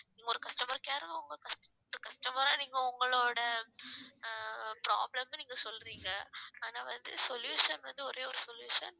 இங்க ஒரு customer care அ உங்க customer ஆ நீங்க உங்களோட அஹ் problem ன்னு நீங்க சொல்றீங்க ஆனா வந்து solution வந்து ஒரே ஒரு solution